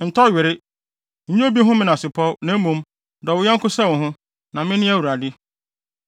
“ ‘Ntɔ were. Nnya obi ho menasepɔw; na mmom, dɔ wo yɔnko sɛ wo ho, na mene Awurade.